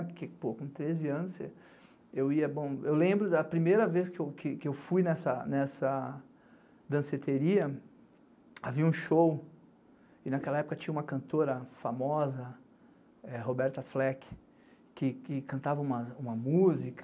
Porque, pô, com treze anos você... Eu ia, Eu lembro da primeira vez que eu fui nessa danceteria, havia um show, e naquela época tinha uma cantora famosa, Roberta Fleck, que cantava uma música,